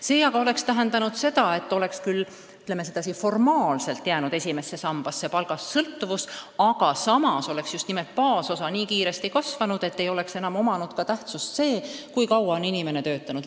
See aga oleks tähendanud seda, et esimesse sambasse oleks küll formaalselt jäänud palgast sõltuvus, ent samas oleks just nimelt baasosa nii kiiresti kasvanud, et poleks enam tähtis olnud, kui kaua on inimene töötanud.